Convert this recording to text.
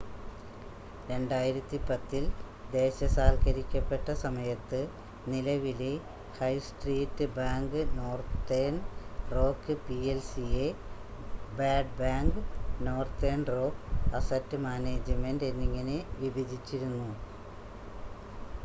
2010-ൽ ദേശസാൽക്കരിക്കപ്പെട്ട സമയത്ത് നിലവിലെ high street bank Northern Rock പി‌എൽ‌സിയെ ‘bad bank’ Northern Rock asset management എന്നിങ്ങനെ വിഭജിച്ചിരുന്നു